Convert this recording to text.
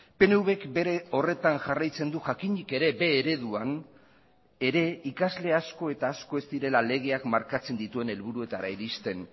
pnvk bere horretan jarraitzen du jakinik ere b ereduan ere ikasle asko eta asko ez direla legeak markatzen dituen helburuetara iristen